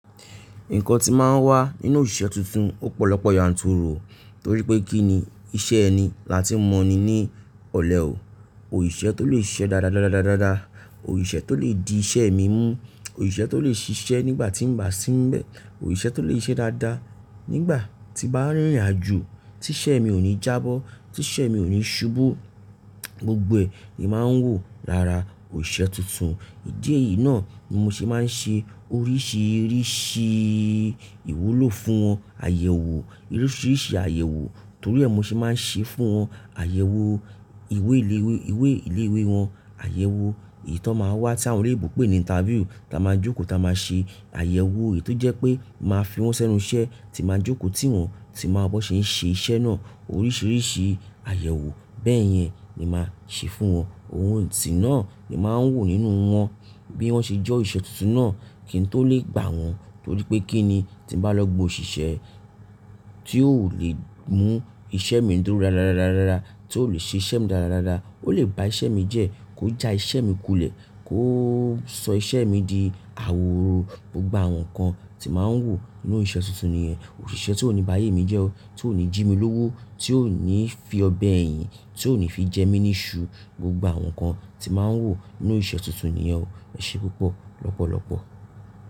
Nǹkan tí máa ń wà nínú òṣìṣẹ́ tuntun ọ̀pọ̀lọpọ̀ yànturu, torí pé kí ni iṣẹ́ ẹni lati mọ'ni ní ọ̀lẹ ò. Òṣìṣẹ́ tó lè ṣe iṣẹ́ dáadáa, Òṣìṣẹ́ tó lè di iṣẹ́ mi mú, Òṣìṣẹ́ tó lè ṣiṣẹ́ nígbà tí ń bá sínbẹ̀, Òṣìṣẹ́ tó lè ṣe iṣẹ́ dáadáa nígbà tí bá rìnrìn àjò, tí iṣẹ́ mi ò ní jábọ́, tí iṣẹ́ mi ò ní ṣubú. Gbogbo è ní máa ń wò lara òṣìṣẹ́ tuntun. Ìdí èyí náà ni mo ṣe máa ń ṣe oríṣiríṣi ìwúlò fún wọn, àyẹ̀wò, oríṣiríṣi àyẹ̀wò torí ẹ, mo ṣe máa ń ṣe fún wọn àyẹ̀wò ìwé ìlé-ìwé wọn, àyẹ̀wò èyí tó máa ń wà tí àwọn olè ìbò pè ní interview, táa máa jókòó, táa máa ṣe àyẹ̀wò èyí tó jẹ́ pé máa fi wọ́n sẹ́nu iṣẹ́ tí máa jókòó, tí wọn sì máa bọ́ ṣe ń ṣe iṣẹ́ náà. Oríṣiríṣi àyẹ̀wò bẹ́ẹ̀ yẹn ni màá ṣe fún wọn. Ohun tí náà ni màá ń wò nínú wọn bí wọ́n ṣe jọ́ òṣìṣẹ́ tuntun náà kí n tó lè gbà wọ́n. Torí pé kí ni tí bàá lọ gbo òṣìṣẹ́ tí ò lè mú iṣẹ́ mi dúró dáadáa, tí ò lè ṣe iṣẹ́ mi dáadáa, ó lè ba iṣẹ́ mi jẹ́, kó já iṣẹ́ mi kulẹ̀, kó sọ iṣẹ́ mi di àwòró. Gbogbo àwọn nǹkan tí màá ń wò nínú òṣìṣẹ́ tuntun nìyẹn. Òṣìṣẹ́ tó ò ní bá ayé mi jẹ́ ọ́, tó ò ní jí mi lówó, tó ò ní fi ọ̀bẹ ẹ́ yìn, tó ò ní fi jẹ mí ní iṣu. Gbogbo àwọn nǹkan tí màá ń wò nínú òṣìṣẹ́ tuntun nìyẹn. Ẹ ṣe púpọ̀ lọ́pọ̀lọpọ̀.